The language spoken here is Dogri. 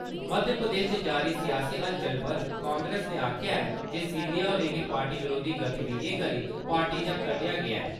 मध्य प्रदेश च जारी सियासी हलचल पर कांग्रेस नै आक्खेया ऐ जे सिंधिया होरें गी पार्टी विरोधी गतिविधियें करी पार्टी चा कड्डेया गेया ऐ ।